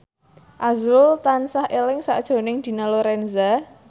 azrul tansah eling sakjroning Dina Lorenza